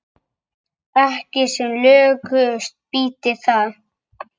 Ekki sem lökust býti það.